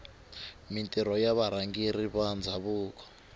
mintirho ya varhangeri va ndhavuko